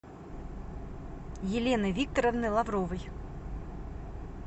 елены викторовны лавровой